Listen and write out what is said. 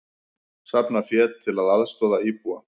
Safna fé til að aðstoða íbúa